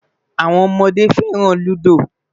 Awọn ọmọde fẹran Ludo